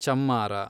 ಚಮ್ಮಾರ